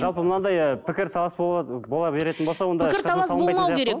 жалпы мынандай ы пікір талас бола беретін болса